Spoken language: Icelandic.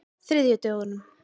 þriðjudögunum